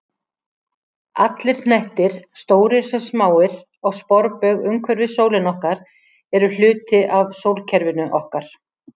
Allir hnettir, stórir sem smáir, á sporbaug umhverfis sólina okkar eru hluti af sólkerfinu okkar.